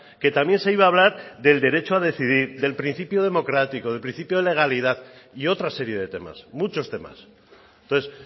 que también se iba a hablar del derecho a decidir del principio democrático del principio de legalidad y otra serie de temas muchos temas entonces